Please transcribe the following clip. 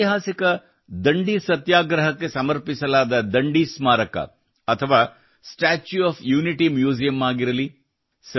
ಐತಿಹಾಸಿಕ ದಂಡಿ ಸತ್ಯಾಗ್ರಹಕ್ಕೆ ಸಮರ್ಪಿಸಲಾದ ದಂಡಿ ಸ್ಮಾರಕ ಅಥವಾ ಸ್ಟಾಚ್ಯೂ ಒಎಫ್ ಯುನಿಟಿ ಮ್ಯೂಸಿಯಮ್ ಆಗಿರಲಿ